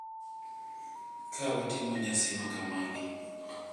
Ka watimo nyasi makamagi,